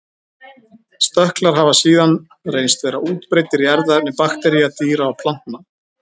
Stökklar hafa síðan reynst vera útbreiddir í erfðaefni baktería, dýra og plantna.